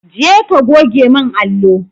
Je ka goge min allo!